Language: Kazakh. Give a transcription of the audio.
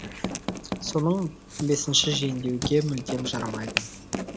соның бесінші жөндеуге мүлдем жарамайды